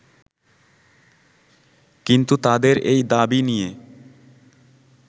কিন্তু তাদের এই দাবি নিয়ে